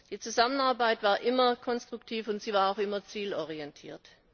Die Zusammenarbeit war immer konstruktiv, und sie war auch immer zielorientiert.